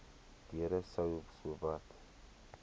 deure sou sowat